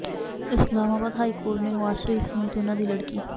Islamabad high court ਨੇ ਨਵਾਜ਼ ਸ਼ਰੀਫ ਸਮੇਤ ਉਨ੍ਹਾਂ ਦੀ ਲੜਕੀ